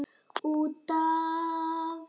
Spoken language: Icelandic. Út af.